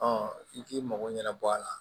i k'i mago ɲɛnabɔ a la